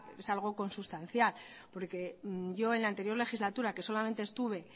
es algo consustancial porque yo en la anterior legislatura que solamente estuve